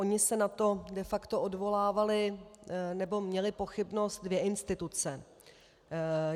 Ony se na to de facto odvolávaly, nebo měly, pochybnost dvě instituce.